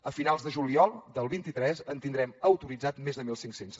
a finals de juliol del vint tres en tindrem autoritzats més de mil cinc cents